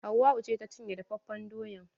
Hauwau ce ta cinye dafafen doyan.